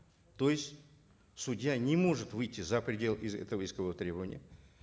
то есть судья не может выйти за пределы этого искового требования